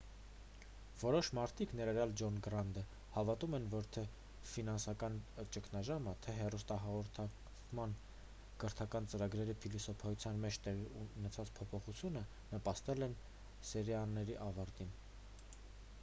որոշ մարդիկ ներառյալ ջոն գրանտը հավատում են որ թե ֆինանսական ճգնաժամը թե հեռուստահաղորդման կրթական ծրագրերի փիլիսոփայության մեջ տեղի ունեցած փոփոխությունը նպաստել են սերիաների ավարտին